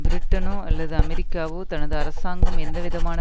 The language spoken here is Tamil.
பிரிட்டனோ அல்லது அமெரிக்காவோ தனது அரசாங்கம் எந்தவிதமான